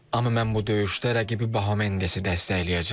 Amma mən bu döyüşdə rəqibi Bahamendesi dəstəkləyəcəm.